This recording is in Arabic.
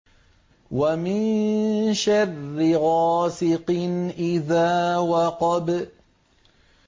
وَمِن شَرِّ غَاسِقٍ إِذَا وَقَبَ